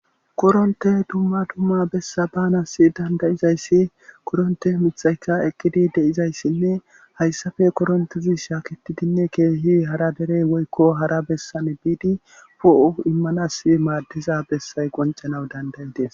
koronte dumma dumma bessa baanas dandayizayssi koronte mithayka eqqidi de7izayssinne hayssafe korontizi shaaketidinne keehi hara derey woykko hara bessan biidi po7u immanas maaddiza bessay qoncanawu dandayidees